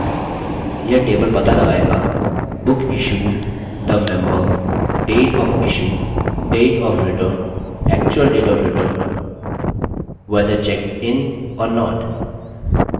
यह table पता लगायेगाbook issued the member date of issue date of return actual date of return whether checked in or not